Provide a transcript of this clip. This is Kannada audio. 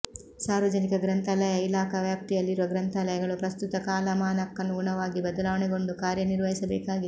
ಸಾರ್ವಜನಿಕ ಗ್ರಂಥಾಲಯ ಇಲಾಖಾ ವ್ಯಾಪ್ತಿಯಲ್ಲಿರುವ ಗ್ರಂಥಾಲಯಗಳು ಪ್ರಸ್ತುತ ಕಾಲಮಾನಕ್ಕನುಗುಣವಾಗಿ ಬದಲಾವಣೆಗೊಂಡು ಕಾರ್ಯನಿರ್ವಹಿಸ ಬೇಕಾಗಿದೆ